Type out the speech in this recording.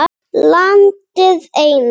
Landið eina.